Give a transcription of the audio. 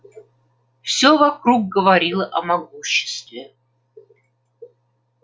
всё вокруг говорило о могуществе